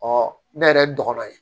ne yɛrɛ dɔgɔnɔ ye